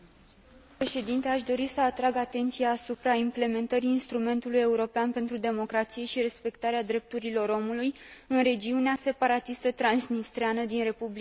Aș dori să atrag atenția asupra implementării Instrumentului european pentru democrație și drepturile omului în regiunea separatistă transnistreană din Republica Moldova.